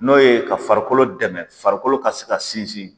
N'o ye ka farikolo dɛmɛ farikolo ka se ka sinsin